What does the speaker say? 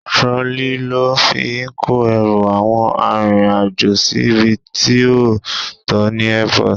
Trolley lo fi ń kó ẹrù àwọn arìnrìn-àjò síbi tí ó tọ ní Airport.